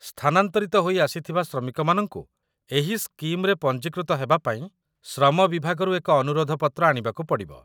ସ୍ଥାନାନ୍ତରିତ ହୋଇ ଆସିଥିବା ଶ୍ରମିକମାନଙ୍କୁ ଏହି ସ୍କିମ୍‌ରେ ପଞ୍ଜୀକୃତ ହେବାପାଇଁ ଶ୍ରମ ବିଭାଗରୁ ଏକ ଅନୁରୋଧ ପତ୍ର ଆଣିବାକୁ ପଡ଼ିବ